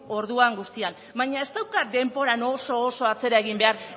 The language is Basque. orduan guztian baina ez daukat denboran oso oso atzera egin behar